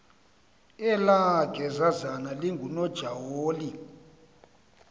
elaa gezazana lingunojaholo